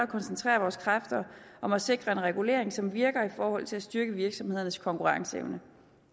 koncentrere vores kræfter om at sikre en regulering som virker i forhold til at styrke virksomhedernes konkurrenceevne